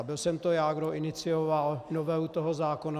A byl jsem to já, kdo inicioval novelu toho zákona.